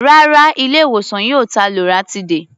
Rárá, ilé-ìwòsàn yìí ò ta loratiday.